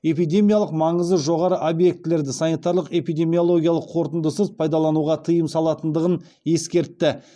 эпидемиялық маңызы жоғары объектілерді санитариялық эпидемиологиялық қорытындысыз пайдалануға тыйым салынатындығын ескертті